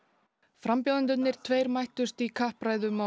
frambjóðendurnir tveir mættust í kappræðum á